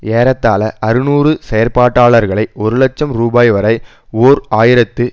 ஏறத்தாழ அறுநூறு செயல்பாட்டாளர்களை ஒரு லட்சம் ரூபாய் வரை ஓர் ஆயிரத்து